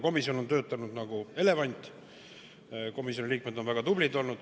Komisjon on töötanud nagu elevant, komisjoni liikmed on olnud väga tublid olnud.